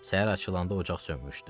Səhər açılında ocaq sönmüşdü.